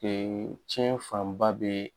Ee tiɲɛ fanba bɛ